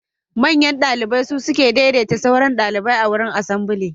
Manyan ɗalibai sukan daideta ɗalibai a wurin asambly.